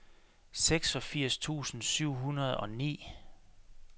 seksogfirs tusind syv hundrede og ni